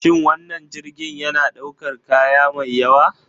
Shin wannan jirgin yana ɗaukar kaya mai yawa?